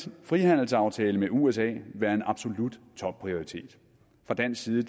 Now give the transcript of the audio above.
en frihandelsaftale med usa være en absolut topprioritet fra dansk side